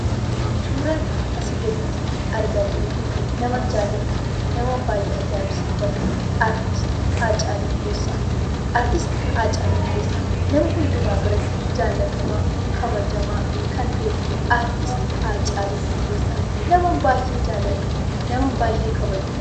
Suuraan asii gaditti argaa jirru kun naman jaalladhuu fi naman baay'ee ajaa'ibsiifadhu, Artisti Haacaaluu Hundeessaa. Artisti Haacaaluu Hundeessaa nama hundumaa biratti jaallatamaa, kabajamaa kan ta'edha. Artisti Haacaaluu Hundeessaa naman baay'ee jaalladhuu fi naman baay'ee kabajudha.